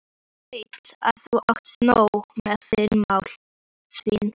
Ég veit að þú átt nóg með þín mál.